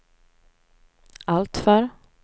alltför